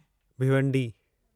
Bhiwandi